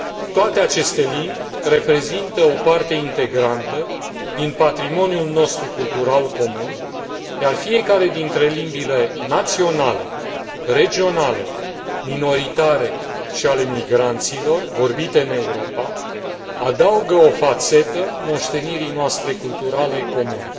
Toate aceste limbi reprezintă o parte integrantă din patrimoniul nostru cultural comun, iar fiecare dintre limbile naționale, regionale, minoritare și ale migranților, vorbite în Europa, adaugă o fațetă moștenirii noastre culturale comune.